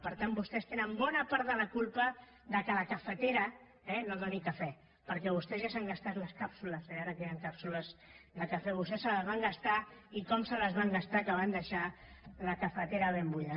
per tant vostès tenen bona part de la culpa que la cafetera no doni cafè perquè vostès ja s’han gastat les càpsules ara que hi han càpsules de cafè vostès se les van gastar i com se les van gastar que van deixar la cafetera ben buida